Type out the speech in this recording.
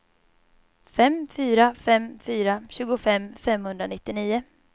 fem fyra fem fyra tjugofem femhundranittionio